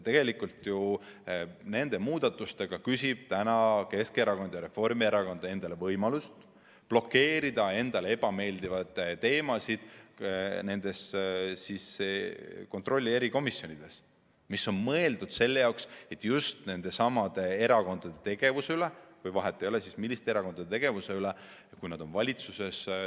Tegelikult nende muudatustega küsivad Keskerakond ja Reformierakond endale võimalust blokeerida endale ebameeldivaid teemasid nendes kontrolli erikomisjonides, mis on mõeldud selleks, et teostada kontrolli, teostada järelevalvet just nendesamade erakondade tegevuse üle, kui nad on valitsuses.